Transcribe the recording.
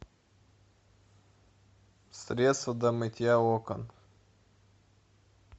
средство для мытья окон